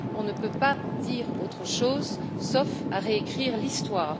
On ne peut pas dire autre chose, sauf à réécrire l'histoire.